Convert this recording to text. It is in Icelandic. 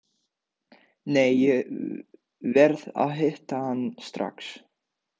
Nei, ég verð að hitta hann strax.